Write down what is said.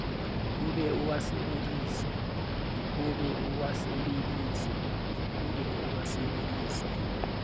o be o a sebedise